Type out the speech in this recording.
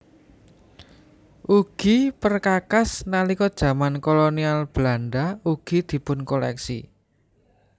Ugi perkakas nalika jaman Kolonial Belanda ugi dipunkoléksi